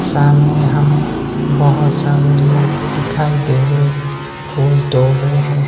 सामने हमें बहोत सारे लोग दिखाई दे रहे फूल तोड़ रहे है।